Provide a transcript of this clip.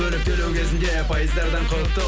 бөліп төлеу кезінде пайыздардан құтыл